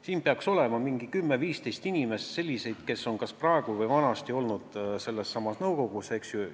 Siin peaks olema 10–15 inimest, kes on kas praegu või olid varem selles nõukogus, eks ju.